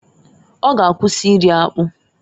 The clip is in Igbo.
Ọ g'akwụsị iri akpụ.